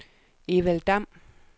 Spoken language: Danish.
Evald Damm